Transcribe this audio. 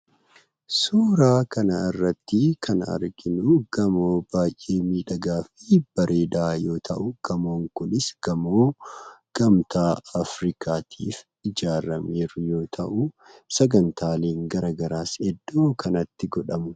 Suuraa kanarratti kan arginu gamoo baay'ee miidhagaa fi bareedaa yoo ta'u, gamoon kunis gamoo gamtaa afrikaatti ijaarame yoo ta'u, sagantaaleen garaagaraa hedduun kan itti godhamudha.